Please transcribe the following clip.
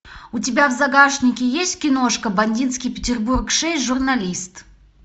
у тебя в загашнике есть киношка бандитский петербург шесть журналист